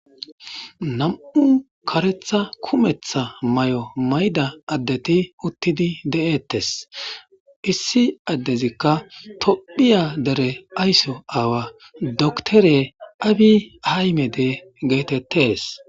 nam'u karetha kumetha may'o mayda addeti uttidi de'ettes. issi addezikka tophiya dere aysso aawa doktore abi haymede geetettees.